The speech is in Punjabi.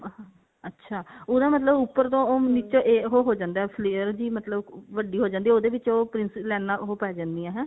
ਅੱਛਾ ਉਹਦਾ ਮਤਲਬ ਉੱਪਰ ਤੋਂ ਉਹ ਨੀਚੇ ਉਹ ਹੋ ਜਾਂਦਾ flair ਜੀ ਮਤਲਬ ਵੱਡੀ ਹੋ ਜਾਂਦੀ ਉਹਦੇ ਵਿੱਚ ਉਹ princess ਲਾਈਨਾ ਉਹ ਪੈ ਜਾਂਦੀਆਂ ਹੈਂ